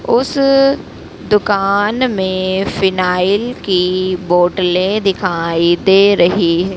उस दुकान में फिनायल की बोतले दिखाई दे रही है।